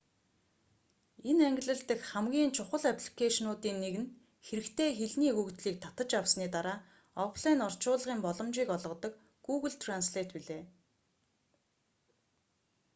энэ ангилал дахь хамгийн чухал апликэйшнуудын нэг нь хэрэгтэй хэлний өгөгдлийг татаж авсаны дараа офлайн орчуулгын боломжийг олгодог гүүгл трэнслэйт билээ